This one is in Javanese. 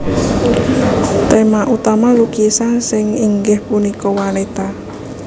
Tema utama lukisan Sin ingggih punika wanita